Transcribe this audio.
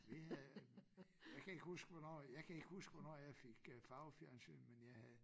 Vi havde jeg kan ikke huske hvornår jeg kan ikke huske hvornår jeg fik øh farvefjernsyn men jeg havde